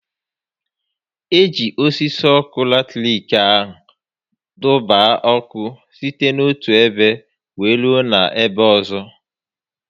E ji osisi ọkụ latiriki a dọba ọkụ site n'otu ebe wéé rue n'ebe ọzọ